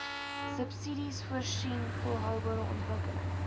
subsidiesvoorsien volhoubare ontwikkelings